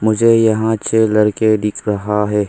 मुझे यहां छेह लड़के दिख रहा है।